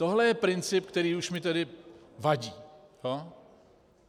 Tohle je princip, který už mi tedy vadí.